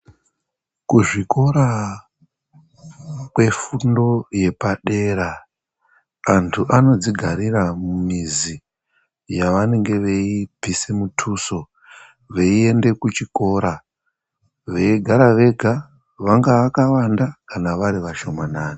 Kuzvikora kwefundo yepadera antu anodzigarira mumizi yavanenge vei bvisa mutuso veyie de kuchikora veigara vega vangava yakawanda kana vari vashoma nani.